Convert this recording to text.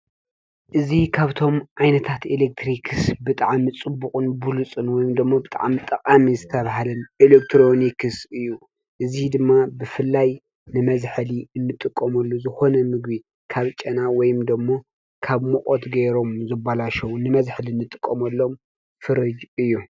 እዚ ካብቶም ዓይነታት ኤለክትሪክስ ብጣዕሚ ፅቡቅን ብሉፅን ወይ ድማ ብጣዕሚ ጠቃሚ ዝተበሃለ ኤለክትሮኒክስ እዩ። እዙይ ድማ ብፍላይ ንመዝሐሊ እንጥቀመሉ ዝኮነ ምግቢ ካብ ጨና ወይ ድማ ካብ ሙቀት ገይሮም ዝብላሸው ንመዝሐሊ እንጥቀመሎም ፍርጅ እዩ።